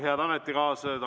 Head ametikaaslased!